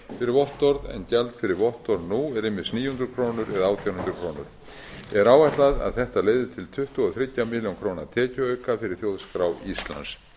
fyrir vottorð en gjald fyrir vottorð nú er ýmist níu hundruð krónur eða átján hundruð krónur er áætlað að þetta leiði til þriggja milljóna króna tekjuauka fyrir þjóðskrá íslands